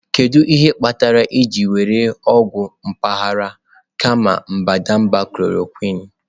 Kedu ihe kpatara ị jiri were ọgwụ mpaghara kama mbadamba chloroquine?